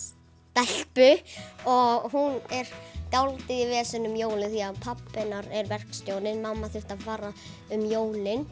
stelpu og hún er dálítið í veseni um jólin því pabbi hennar er verkstjóri og mamma þurfti að fara um jólin